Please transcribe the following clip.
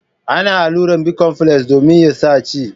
Ana alluran bicomfles domin ya sa ci.